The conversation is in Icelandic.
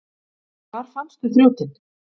Hvar fannstu þrjótinn?